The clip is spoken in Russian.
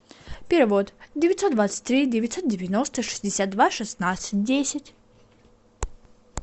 перевод девятьсот двадцать три девятьсот девяносто шестьдесят два шестнадцать десять